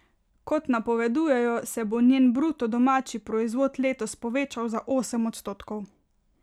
Kot napovedujejo, se bo njen bruto domači proizvod letos povečal za osem odstotkov.